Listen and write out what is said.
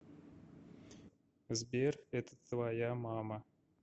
сбер это твоя мама